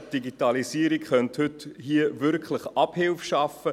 Die Digitalisierung könnte hier wirklich Abhilfe schaffen.